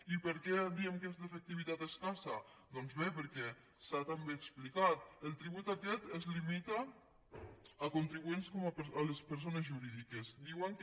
i per què diem que és d’efectivitat escassa doncs bé perquè s’ha també explicat el tribut aquest es limita a contribuents com les persones jurídiques diuen que